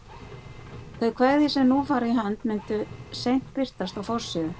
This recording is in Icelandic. Þau kvæði sem nú fara í hönd myndu seint birtast á forsíðu